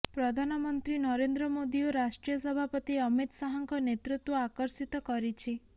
ପ୍ରଧାନମନ୍ତ୍ରୀ ନରେନ୍ଦ୍ର ମୋଦି ଓ ରାଷ୍ଟ୍ରୀୟ ସଭାପତି ଅମିତ୍ ଶାହାଙ୍କ ନେତୃତ୍ୱ ଆକର୍ଷିତ କରିଛି